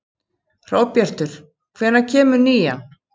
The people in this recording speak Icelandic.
Hróbjartur, hvenær kemur nían?